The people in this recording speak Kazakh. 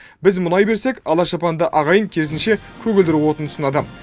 біз мұнай берсек ала шапанды ағайын керісінше көгілдір отын ұсынады